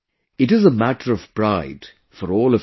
It is a matter of pride for all of us